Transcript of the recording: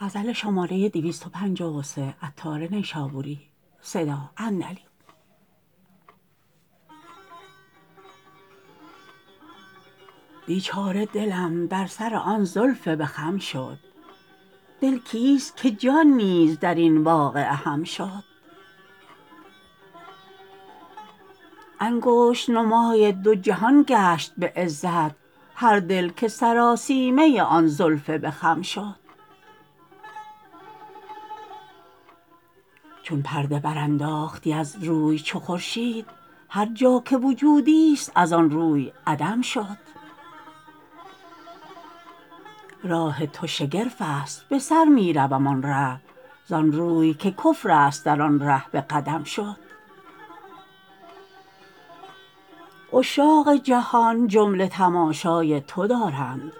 بیچاره دلم در سر آن زلف به خم شد دل کیست که جان نیز درین واقعه هم شد انگشت نمای دو جهان گشت به عزت هر دل که سراسیمه آن زلف به خم شد چون پرده برانداختی از روی چو خورشید هر جا که وجودی است از آن روی عدم شد راه تو شگرف است بسر می روم آن ره زآنروی که کفر است در آن ره به قدم شد عشاق جهان جمله تماشای تو دارند